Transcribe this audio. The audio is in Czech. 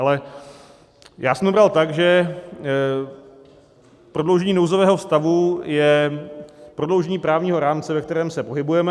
Ale já jsem to bral tak, že prodloužení nouzového stavu je prodloužení právního rámce, ve kterém se pohybujeme.